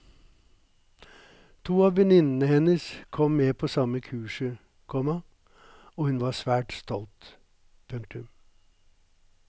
To av venninnene hennes kom med på samme kurset, komma og hun var svært stolt. punktum